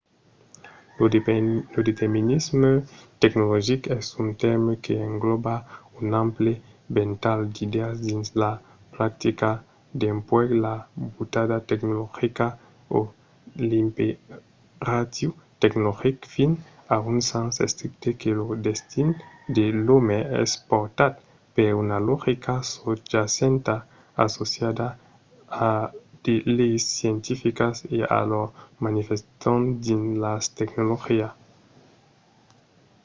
lo determinisme tecnologic es un tèrme que englòba un ample ventalh d’idèas dins la practica dempuèi la butada tecnologica o l’imperatiu tecnologic fins a un sens estricte que lo destin de l'òme es portat per una logica sosjacenta associada a de leis scientificas e a lor manifestacion dins la tecnologia